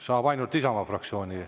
Saab ainult Isamaa fraktsiooni.